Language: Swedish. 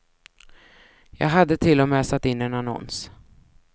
Jag hade till och med satt in en annons.